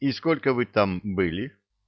и сколько вы там были